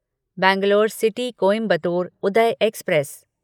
Bangalore city Coimbatore Uday express